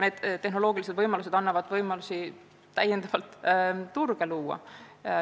Need lahendused annavad võimalusi uusi turge luua.